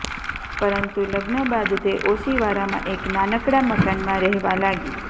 પરંતુ લગ્ન બાદ તે ઓશિવારામાં એક નાનકડા મકાનમાં રહેવા લાગી